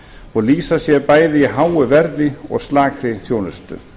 og lýsa sér bæði í háu verði og slakri þjónustu